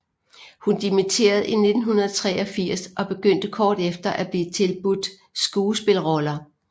Hun dimitterede i 1983 og begyndte kort efter at blive tilbudt skuespilroller